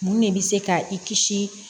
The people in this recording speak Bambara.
Mun de bɛ se ka i kisi